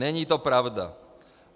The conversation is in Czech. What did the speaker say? Není to pravda.